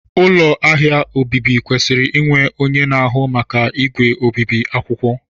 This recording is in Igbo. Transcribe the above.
ụlọ ahịa obibi kwesịrị inwe onye na-ahụ maka igwe obibi akwụkwọ